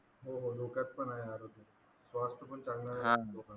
पण आहे आरोग्य स्वास्थ पण चांगलं राहील लोकांचं